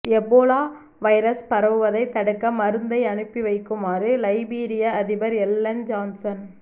Ebola virus பரவுவதை தடுக்க மருந்தை அனுப்பி வைக்குமாறு லைபீரிய அதிபர் எல்லன் ஜான்சன்